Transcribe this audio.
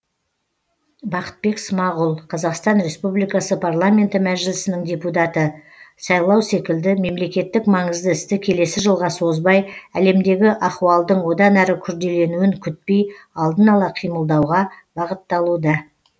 бақытбек смағұл қазақстан республикасы парламенті мәжілісінің депутаты сайлау секілді мемлекеттік маңызды істі келесі жылға созбай әлемдегі ахуалдың одан әрі күрделенуін күтпей алдын ала қимылдауға бағытталуда